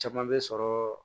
Caman bɛ sɔrɔ